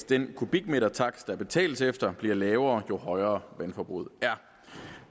den kubikmetertakst der betales efter bliver lavere jo højere vandforbruget er